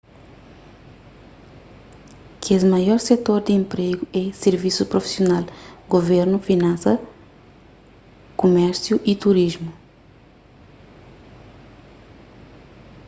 kes maior setor di enpregu é sirvisus prufisional guvernu finansas kumérsiu y turismu